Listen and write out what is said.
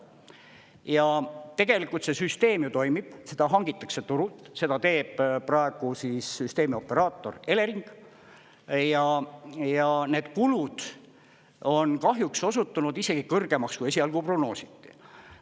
Ja tegelikult see süsteem ju toimib, seda hangitakse turult, seda teeb praegu süsteemioperaator Elering ja need kulud on kahjuks osutunud isegi kõrgemaks, kui esialgu prognoositi.